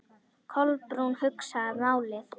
Kolbrún hugsaði málið.